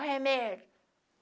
Olha o remédio.